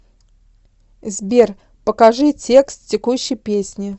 сбер покажи текст текущей песни